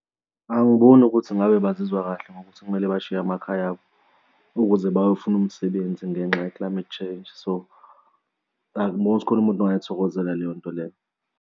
Angiboni ukuthi kungabe bazizwa kahle ngokuthi kumele bashiye amakhaya abo ukuze bayofuna umsebenzi ngenxa ye-climate change. So angiboni ukuthi kukhona umuntu ongayithokozela leyo nto leyo.